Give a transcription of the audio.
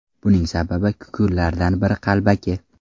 Buning sababi – kukunlardan biri qalbaki!